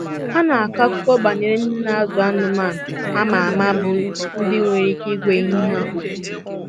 Ha na-akọ akụkọ banyere ndị na-azụ anụmanụ a ma ama bụ́ ndị nwere ike ịgwa ehi ha okwu.